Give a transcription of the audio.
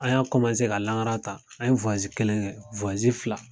An y'a ka langara ta an ye kelen kɛ fila.